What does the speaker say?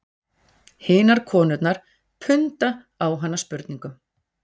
Hinar konurnar punda á hana spurningum